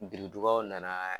biridugaw nana